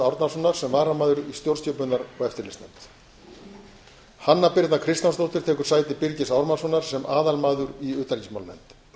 árnasonar sem varamaður í stjórnskipunar og eftirlitsnefnd hanna birna kristjánsdóttir tekur sæti birgis ármannssonar sem aðalmaður í utanríkismálanefnd